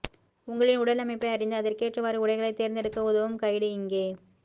உங்களின் உடலமைப்பை அறிந்து அதற்கேற்றவாறு உடைகளை தேர்ந்தெடுக்க உதவும் கைடு இங்கே